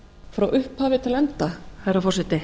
frá upphafi til enda herra forseti